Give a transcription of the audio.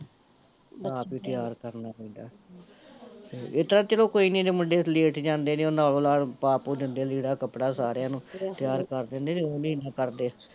ਆਪ ਈ ਤਿਆਰ ਕਰਨਾ ਪੈਂਦਾ ਹਮ ਤੇ ਏਹ ਤੇ ਚਲੋ ਕੋਈ ਨੀ ਮੁੰਡੇ ਲੇਟ ਜਾਂਦੇ ਨੇ, ਓਨਾ ਅਗਲਾ ਪਾ ਪੁ ਦਿੰਦੇ ਲੀੜਾ ਕੱਪੜਾ ਸਾਰਿਆ ਨੂੰ, ਤਿਆਰ ਕਰ ਦਿੰਦੇ ਨਹੀਂ ਤੇ ਉਹ ਨੀ ਇਨਾ ਕਰਦੇ